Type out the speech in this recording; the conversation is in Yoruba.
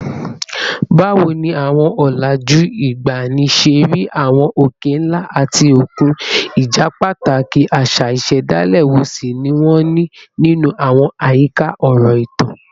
Báwo ni àwọn ọ̀làjú ìgbàanì ṣe rí àwọn òkè ńlá àti òkun, ìjẹ́pàtàkì àṣà ìṣẹ̀dálẹ̀ wo sì ni wọ́n ní nínú àwọn àyíká ọ̀rọ̀ ìtàn?